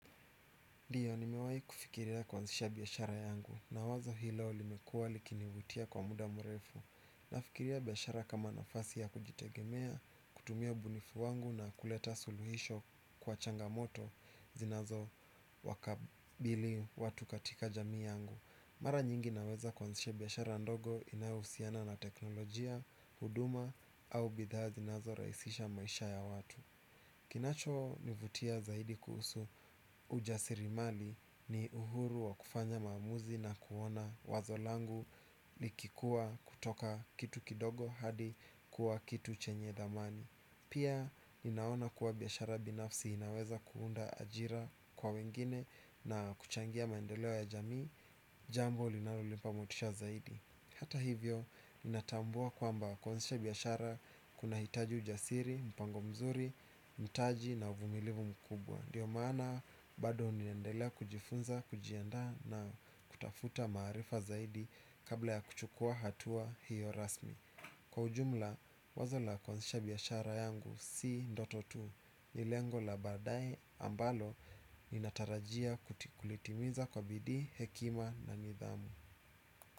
Ndiyo nimewai kufikiria kuazisha biashara yangu na wazo hilo limekua likinivutia kwa muda mrefu. Nafikiria biashara kama nafasi ya kujitegemea, kutumia ubunifu wangu na kuleta suluhisho kwa changamoto zinazo wakabili watu katika jamii yangu. Mara nyingi naweza kuazisha biashara ndogo inayohusiana na teknolojia, huduma au bidhaa zinazo raisisha maisha ya watu. Kinacho nivutia zaidi kuhusu ujasiri mali ni uhuru wa kufanya maamuzi na kuona wazo langu likikuwa kutoka kitu kidogo hadi kuwa kitu chenye dhamani. Pia ninaona kuwa biashara binafsi inaweza kuunda ajira kwa wengine na kuchangia mandeleo ya jamii jambo linalonimpa motisha zaidi. Hata hivyo, ninatambua kwamba kuanzisha biashara kuna hitaji ujasiri, mpango mzuri, mtaji na uvumilivu mkubwa ndiyo maana, bado ninaendelea kujifunza, kujiandaa na kutafuta maarifa zaidi kabla ya kuchukua hatua hiyo rasmi. Kwa ujumla, wazo la kuanzisha biashara yangu si ndoto tu, ni lengo la baadae ambalo ninatarajia kulitimiza kwa bidii, hekima na nidhamu.